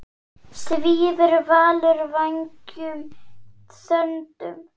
Svífur Valur vængjum þöndum?